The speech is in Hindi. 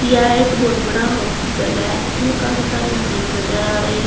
यह एक बहुत बड़ा हॉस्पिटल है इसमें काफी सारी मशीन नजर आ रही है।